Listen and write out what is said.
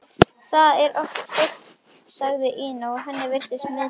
Það er oft fólk, sagði Ína og henni virtist misboðið.